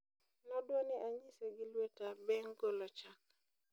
nodwani anyise gi lweta beng golo chak.